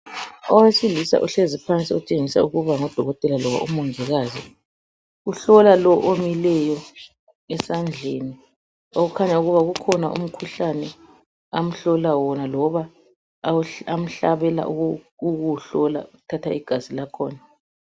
Owesilisa uhlezi phansi utshengisa ukuba ngudokotela loba umongikazi. Uhlola lo omileyo esandleni okukhanya ukuba ukhona umkhuhlane amhlola wona loba amahlabela ukuwuhlola ethatha igazi lakhona.